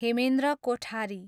Hemendra Kothari